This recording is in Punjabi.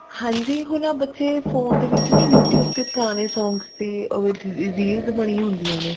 ਹਾਂਜੀ ਹੁਣ ਆਹ ਬੱਚੇ ਹੁਣ phone ਦੇ ਵਿੱਚ ਨਾ youtube ਤੇ ਪੁਰਾਣੇ songs ਦੀ reels ਬਣੀ ਹੁੰਦੀਆਂ ਨੇ